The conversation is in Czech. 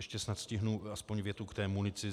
Ještě snad stihnu aspoň větu k té munici.